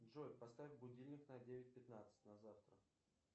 джой поставь будильник на девять пятнадцать на завтра